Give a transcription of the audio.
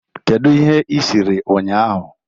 Kedu ihe ị siri ụnyahụ?